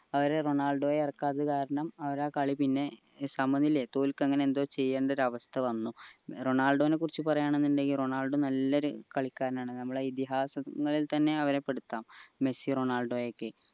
റൊണാൾഡോയെ ഇറക്കാത്ത കാരണം അവരാ കളി പിന്നെ സമനിലെ തോല്ക്കാ അങ്ങനെ എന്തോ ചെയ്യണ്ട ഒരു അവസ്ഥ വന്നു റണാള്ഡോനെ കുറിച്ച് പറയാണിന്നിണ്ടേൽ റൊണാൾഡോ നല്ലൊരു കളിക്കാരനാണ് ഞമ്മളെ ഇതിഹാസങ്ങളിൽ തന്നെ അവരെ പെടുത്താം മെസ്സി റൊണാൾഡോയൊക്കെ